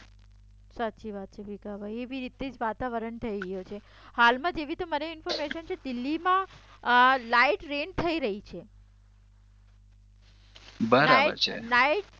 સાચી વાત છે ભીખાભાઇ એવી રીતથી જ વાતાવરણ થઈ ગયું છે હાલમાં જેવી રીતે મને ઇન્ફોર્મેશન છે દિલ્હીમાં લાઇટ રેઈન થઈ રહી છે બરબર છે